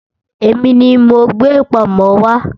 Èmi ni mo gbé pọ̀nmọ́ wá